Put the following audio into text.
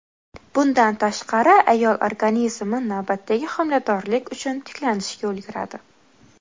Bundan tashqari, ayol organizmi navbatdagi homiladorlik uchun tiklanishga ulguradi.